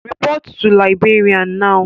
Report to Librarian Now